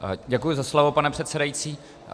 Děkuji za slovo, pane předsedající.